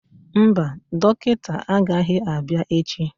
Mba, dọkịta agaghị abịa echi